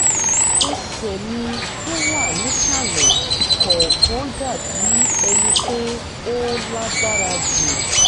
ẹsẹ̀ mi tó wà nísàlẹ̀ kọ̀ọ̀kan dà bí ẹni pé ó lágbára jù